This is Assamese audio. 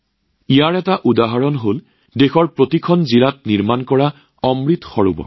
ইয়াৰ উদাহৰণ দেশৰ প্ৰতিখন জিলাতে নিৰ্মাণ হৈ থকা অমৃত সৰোৱৰ